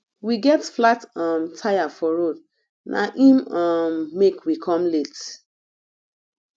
we get flat um tire for road na im um make we come late